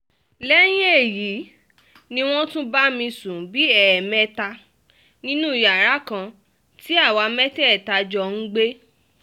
lẹ́yìn èyí ni wọ́n tún bá mi sùn bíi ẹ̀ẹ̀mẹta nínú yàrá kan tí àwa mẹ́tẹ̀ẹ̀ta jọ ń gbé